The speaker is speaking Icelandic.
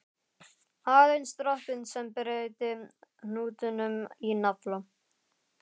Aðeins dropinn sem breytti hnútnum í nafla.